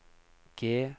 G